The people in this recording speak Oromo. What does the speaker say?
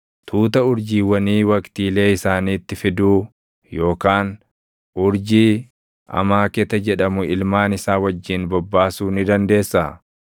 Tuuta urjiiwwanii waqtiilee isaaniitti fiduu yookaan urjii Amaaketa jedhamu ilmaan isaa wajjin bobbaasuu ni dandeessaa?